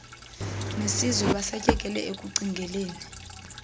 nesizwe basatyekele ekucingeleni